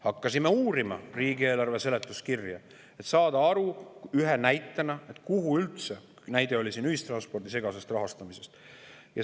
Hakkasime uurima riigieelarve seletuskirja, et saada üks näide, kuhu üldse – näide oli ühistranspordi segase rahastamise kohta.